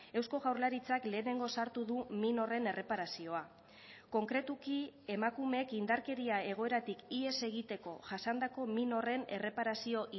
eusko jaurlaritzak lehenengo sartu du min horren erreparazioa konkretuki emakumeek indarkeria egoeratik ihes egiteko jasandako min horren erreparazio